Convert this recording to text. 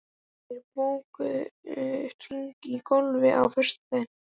Mímir, bókaðu hring í golf á föstudaginn.